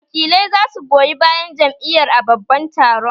Wakilai za su goyi bayan Jam'iyar a babban taron